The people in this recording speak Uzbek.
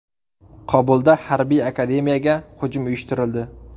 Kobulda harbiy akademiyaga hujum uyushtirildi.